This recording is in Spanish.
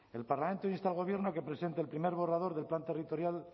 el parlamento insta al gobierno a que presente el primer borrador del plan territorial